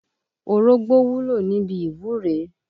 Orógbó wúlò níbi ìwúre.